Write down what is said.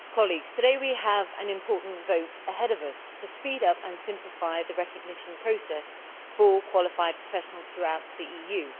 Madam President, today we have an important vote ahead of us to speed up and simplify the recognition process for qualified professionals throughout the EU.